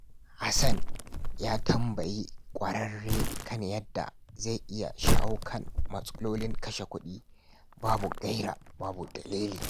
Hassan ya tambayi kwararre kan yadda zai iya shawo kan matsalolin kashe kudi babu gaira babu dalili.